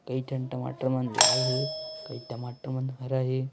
कई ठन टमाटर मन लाल हे कई टमाटर मन हरा हे।